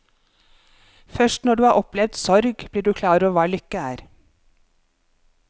Først når du har opplevd sorg, blir du klar over hva lykke er.